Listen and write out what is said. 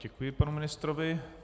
Děkuji panu ministrovi.